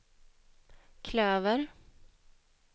klöver